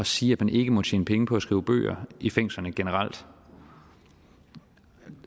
sige at man ikke må tjene penge på at skrive bøger i fængslerne generelt